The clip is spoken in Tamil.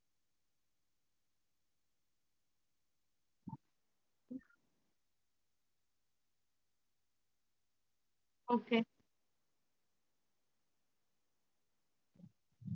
okay எல்லாரும் meals லாம் daily சாப்பிடறதுதா mam இதுனா கொஞ்சம் different ஆ இருக்கும் dessert, பிரியாணி, sixty, பச்சடி அந்த மாதிரி இதுன different ஆ இருக்கும்.